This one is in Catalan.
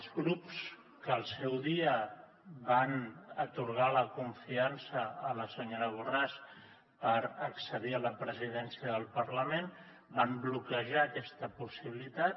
els grups que al seu dia van atorgar la confiança a la senyora borràs per accedir a la presidència del parlament van bloquejar aquesta possibilitat